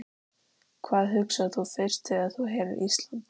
Hvað hugsar þú fyrst þegar þú heyrir Ísland?